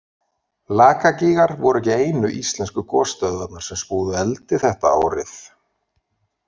Lakagígar voru ekki einu íslensku gosstöðvarnar sem spúðu eldi þetta árið.